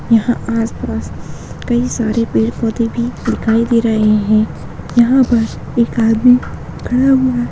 यहां आस-पास कहीं सारे पेड़-पौधे भी दिखाई दे रहे हैं। यहां पर एक आदमी खड़ा हुआ --